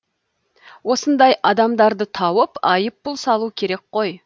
осындай адамдарды тауып айыппұл салу керек қой